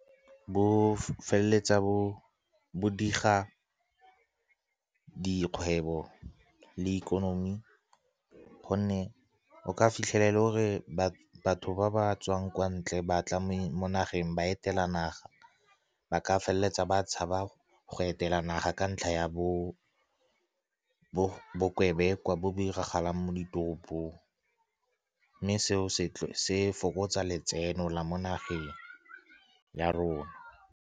Bo feleletsa bo diga dikgwebo le ikonomi, gonne o ka fitlhelela e le gore batho ba ba tswang kwa ntle ba tla mo nageng, ba etela naga, ba ka feleletsa ba tshaba go etela naga ka ntlha ya bokebekwa bo bo diragalang mo ditoropong, mme seo se fokotsa letseno la mo nageng ya rona.